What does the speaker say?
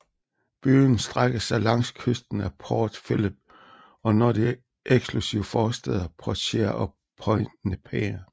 Byen strækker sig langs kysten af Port Phillip og når de eksklusive forstæder Portsea og Point Nepean